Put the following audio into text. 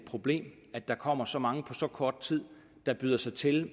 problem at der kommer så mange på så kort tid der byder sig til